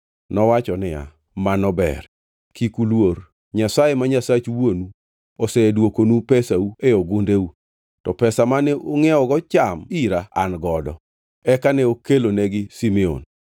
Nowacho niya, “Mano ber. Kik uluor. Nyasaye ma Nyasach wuonu, osedwokonu pesau e gundeu; to pesa mane ungʼiewgo cham ira, an godo.” Eka ne okelonegi Simeon.